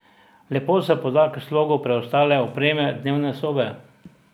Lepo se poda k slogu preostale opreme dnevne sobe.